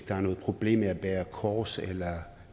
der er noget problem i at bære kors eller